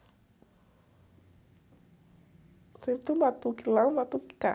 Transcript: Sempre tem um batuque lá e um batuque cá.